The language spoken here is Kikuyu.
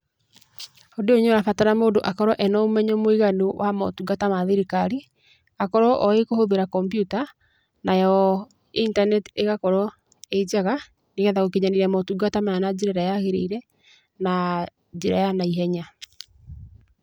Ũndũ ũyũ nĩ ũrabatara mũndũ akorwo ena ũmenyo mũiganu wa motungata ma thirikari, akorwo oĩ kũhũthĩra kompyuta, nayo intaneti ĩgakorwo ĩ njega, nĩ getha gũkinyanĩria motungata maya na njĩra ĩrĩa yagĩrĩire, na njĩra ya naihenya.